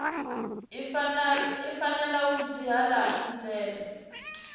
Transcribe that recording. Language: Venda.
i fanela u dzhiela nzhele